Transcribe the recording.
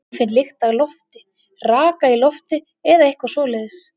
Ég finn lykt af lofti, raka í lofti eða eitthvað svoleiðis.